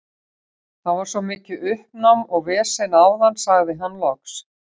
Það var svo mikið uppnám og vesen áðan, sagði hann loks.